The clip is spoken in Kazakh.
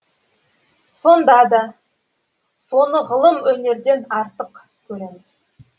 сонда да соны ғылым өнерден артық көреміз